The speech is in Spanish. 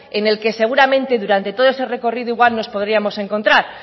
en el que seguramente durante todo ese recorrido igual nos podríamos encontrar